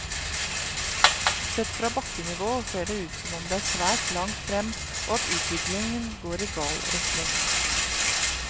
Sett fra bakkenivå ser det ut som om det er svært langt frem, og at utviklingen går i gal retning.